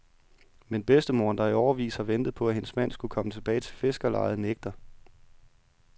Men bedstemoderen, der i årevis har ventet på at hendes mand skulle komme tilbage til fiskerlejet, nægter.